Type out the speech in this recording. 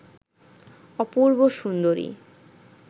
অপূর্ব সুন্দরী